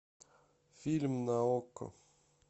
фильм на окко